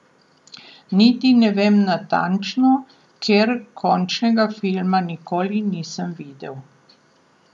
Niti ne vem natančno, ker končnega filma nikoli nisem videl.